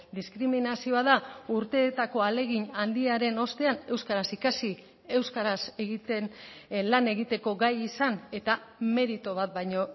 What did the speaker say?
diskriminazioa da urteetako ahalegin handiaren ostean euskaraz ikasi euskaraz egiten lan egiteko gai izan eta meritu bat baino